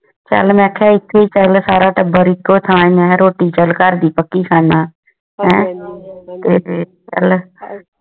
ਚਾਲ ਮੇਂ ਕਹਾ ਇਥੇ ਹੈ ਸਾਰਾ ਟੱਬਰ ਇੱਕੇ ਥਾਂ ਹੀ ਹੈ ਰੋਟੀ ਚੱਲ ਘਰ ਦੀ ਪੱਕੀ ਖਾਂਦਾ ਆ